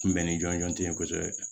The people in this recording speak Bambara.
Kunbɛn ni jɔnjɔn tɛ yen kosɛbɛ